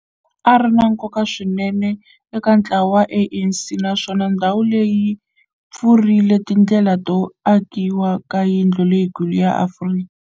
ri na nkoka swinene eka ntlawa wa ANC, naswona ndhawu leyi yi pfurile tindlela to akiwa ka yindlu leyikulu ya Afrika